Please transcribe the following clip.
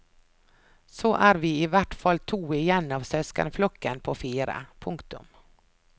Så er vi i hvert fall to igjen av søskenflokken på fire. punktum